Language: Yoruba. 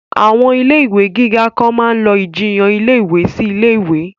Àwọn ilé ìwé gíga kan máa lọ ìjiyàn ilé ìwé sí ilé ìwé